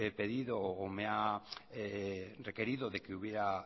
pedido o me ha requerido de que hubiera